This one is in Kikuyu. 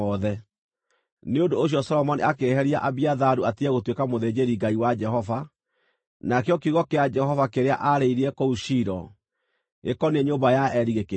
Nĩ ũndũ ũcio Solomoni akĩeheria Abiatharu atige gũtuĩka mũthĩnjĩri-Ngai wa Jehova, nakĩo kiugo kĩa Jehova kĩrĩa aarĩirie kũu Shilo, gĩkoniĩ nyũmba ya Eli, gĩkĩhinga.